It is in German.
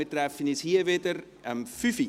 Wir treffen uns um 17 Uhr wieder hier.